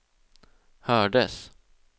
hördes